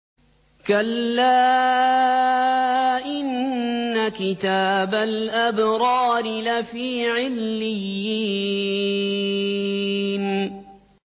كَلَّا إِنَّ كِتَابَ الْأَبْرَارِ لَفِي عِلِّيِّينَ